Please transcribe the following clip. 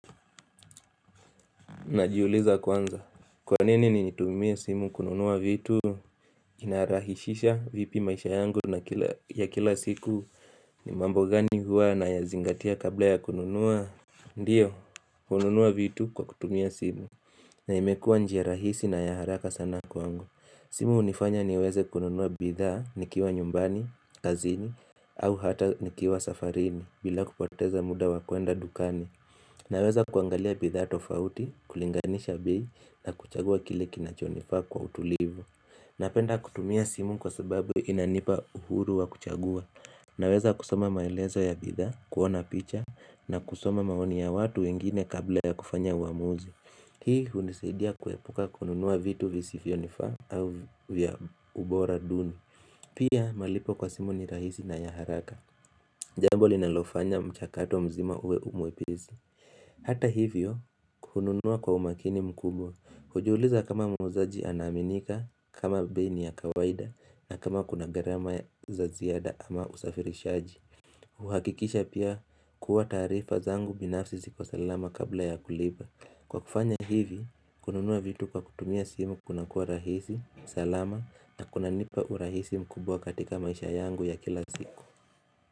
Najiuliza kwanza, Kwa nini nitumie simu kununua vitu? Inarahisisha vipi maisha yangu ya kila siku? Ni mambo gani huwa nayazingatia kabla ya kununua? Ndiyo, hununua vitu kwa kutumia simu. Na imekua njia rahisi na ya haraka sana kwangu. Simu hunifanya niweze kununua bidhaa nikiwa nyumbani, kazini, au hata nikiwa safarini bila kupoteza muda wa kwenda dukani. Nawezakuangalia bidhaa tofauti, kulinganisha bei na kuchagua kile kinachonifaa kwa utulivu Napenda kutumia simu kwa sababu inanipa uhuru wa kuchagua Naweza kusoma maelezo ya bidhaa, kuona picha na kusoma maoni ya watu wengine kabla ya kufanya uamuzi Hii hunisaidia kuepuka kununua vitu visivyonifaa au vya ubora duni Pia malipo kwa simu ni rahisi na ya haraka Jambo linalofanya mchakato mzima uwe mwepesi Hata hivyo hununua kwa umakini mkubwa, hujuliza kama muuzaji anaaminika, kama bei ni ya kawaida na kama kuna garama za ziada ama usafirishaji kuhakikisha pia kuwa taarifa zangu binafsi ziko salama kabla ya kulipa. Kwa kufanya hivi kununua vitu kwa kutumia simu kuna kuwa rahisi, salama na kunanipa urahisi mkubwa katika maisha yangu ya kila siku.